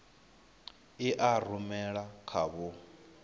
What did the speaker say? i a rumela kha vho